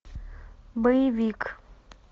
боевик